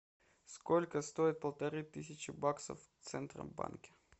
сколько стоит полторы тысячи баксов в центробанке